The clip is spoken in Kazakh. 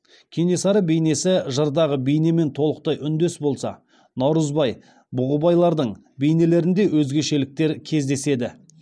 кенесары бейнесі жырдағы бейнемен толықтай үндес болса наурызбай бұғыбайлардың бейнелерінде өзгешеліктер кездеседі